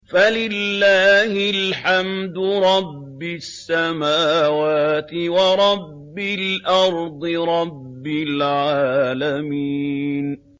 فَلِلَّهِ الْحَمْدُ رَبِّ السَّمَاوَاتِ وَرَبِّ الْأَرْضِ رَبِّ الْعَالَمِينَ